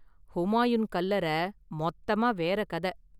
ஹூமாயூன் கல்லறை மொத்தமா வேற கத.